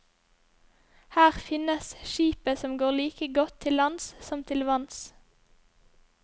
Her finnes skipet som går like godt til lands som til vanns.